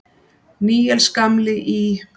Níels gamli í